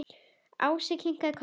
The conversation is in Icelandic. Ási kinkaði kolli.